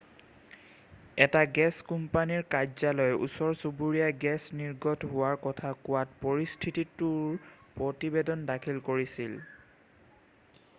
এটা গেছ কোম্পানীৰ কাৰ্যালয়ে ওচৰ-চুবুৰীয়াই গেছ নিৰ্গত হোৱাৰ কথা কোৱাত পৰিস্থিতিটোৰ প্ৰতিবেদন দাখিল কৰিছিল